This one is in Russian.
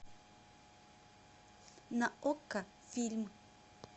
на окко фильм